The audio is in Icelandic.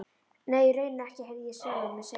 Nei, í rauninni ekki, heyrði ég sjálfan mig segja.